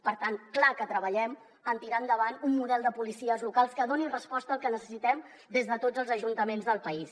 per tant clar que treballem en tirar endavant un model de policies locals que doni resposta al que necessitem des de tots els ajuntaments del país